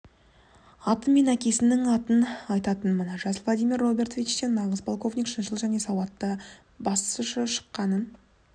аты мен әкесінің атын айтатынмын жас владимир робертовичтен нағыз полковник шыншыл және сауатты басшы шыққанын